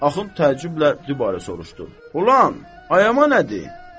Axund təəccüblə dübarə soruşdu: Ulan, ayama nədir?